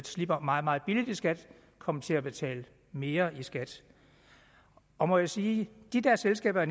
slipper meget meget billigt i skat kom til at betale mere i skat og må jeg sige de der selskaber